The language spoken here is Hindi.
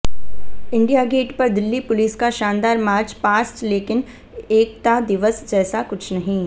इंडिया गेट पर दिल्ली पुलिस का शानदार मार्च पास्ट लेकिन एकता दिवस जैसा कुछ नहीं